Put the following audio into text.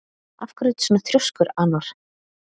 Af hverju ertu svona þrjóskur, Anor?